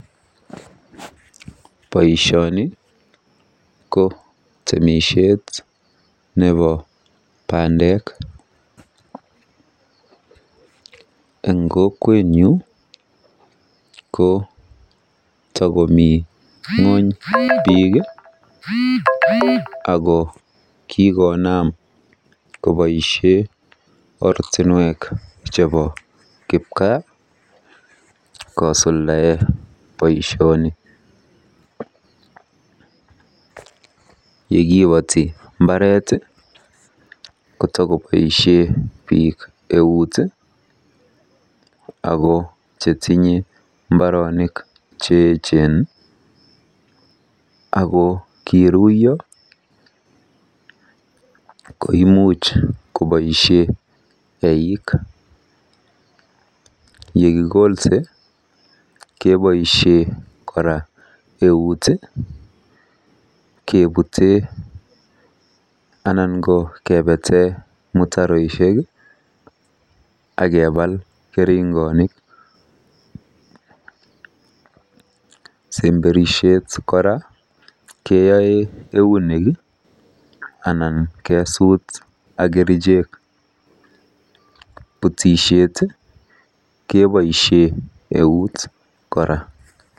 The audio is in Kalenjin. Boisioni ko temisiet nebo bandek. Eng kokwenyu ko takomi ng'ony biik ako kikoonam koboisie ortinwek chebo kipgaa kosuldae boisioni. Yekipoti mbaret ko takoboisie biik eut ako chetinye mbaronik cheechen chekiruiyo koimuch koboisie eik. Yekikolse keboisie kora eut kepute anan ko kepete mutaroishek akeepal keringonik. Semberishet kora keoe eunek ako imuch kesuut ak kerichek. Butisiet keboisie eut kora.